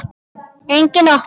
Engin opnun.